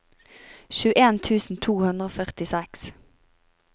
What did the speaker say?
tjueen tusen to hundre og førtiseks